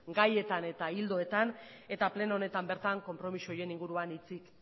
gaietan eta ildoetan eta pleno honetan bertan konpromiso horien inguruan hitzik